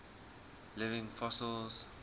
living fossils